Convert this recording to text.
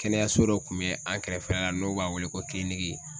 Kɛnɛyaso dɔ tun bɛ an kɛrɛfɛla la n'u b'a wele ko